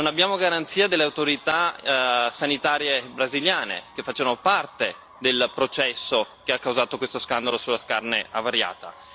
Non abbiamo garanzia dalle autorità sanitarie brasiliane che facciano parte del processo che ha causato questo scandalo sulla carne avariata.